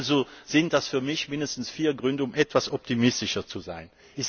Also sind das für mich mindestens vier Gründe, um etwas optimistischer zu sein.